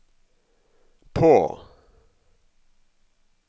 på